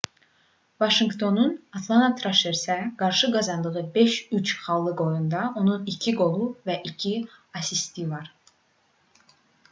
vaşinqtonun atlana traşersə qarşı qazandığı 5:3 xallıq oyunda onun 2 qolu və 2 asisti var